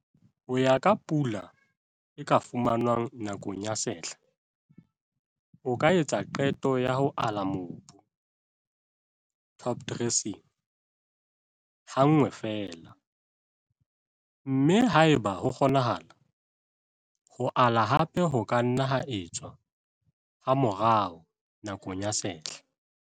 Ho ya ka pula e ka fumanwang nakong ya sehla, o ka etsa qeto ya ho ala mobu, topdressing, hanngwe feela, mme haeba ho kgonahala, ho ala hape ho ka nna ha etswa hamorao nakong ya sehla.